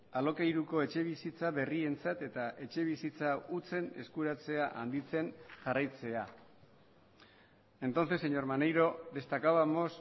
alokairuko etxebizitza berrientzat eta etxebizitza hutsen eskuratzea handitzen jarraitzea entonces señor maneiro destacábamos